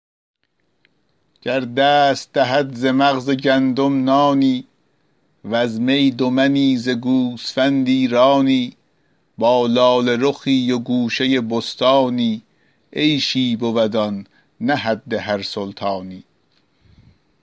گر دست دهد ز مغز گندم نانی وز می دو منی ز گوسفندی رانی با لاله رخی و گوشه بستانی عیشی بود آن نه حد هر سلطانی